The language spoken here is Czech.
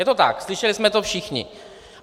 Je to tak, slyšeli jsme to všichni.